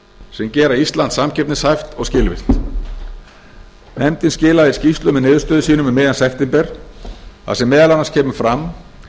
sem gera ísland samkeppnishæft og skilvirkt nefndin skilaði skýrslu með niðurstöðum sínum um miðjan september þar sem meðal annars kemur fram